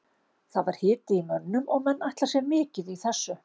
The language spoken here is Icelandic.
Það var hiti í mönnum og menn ætla sér mikið í þessu.